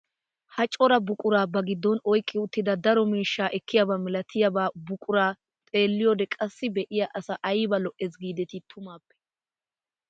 Ha cora buquraa ba giddon oyqqi uttida daro miishshaa ekkiyaaba milatiyaa buquraa xeelliyoode qassi be'iyaa asaa ayba lo"ees gidetii tumaappe!